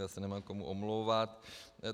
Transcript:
Já se nemám komu omlouvat.